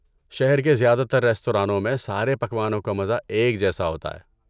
شہر کے زیادہ تر ریستورانوں میں سارے پکوانوں کا مزہ ایک جیسا ہوتا ہے۔